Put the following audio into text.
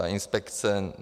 Ta inspekce.